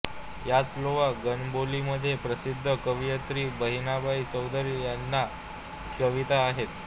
याच लेवा गणबोलीमध्ये प्रसिद्ध कवयित्री बहिणाबाई चौधरी यांच्या कविता आहेत